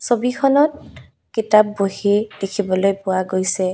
ছবিখনত কিতাপবহি দেখিবলৈ পোৱা গৈছে।